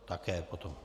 Také potom.